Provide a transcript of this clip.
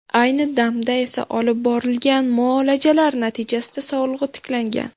Ayni damda esa olib borilgan muolajalar natijasida sog‘lig‘i tiklangan.